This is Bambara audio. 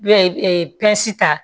N'o ye pita